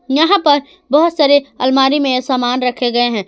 यहां पर बहुत सारे अलमारी में सामान रखे गए हैं।